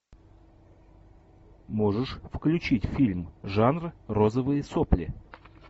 можешь включить фильм жанр розовые сопли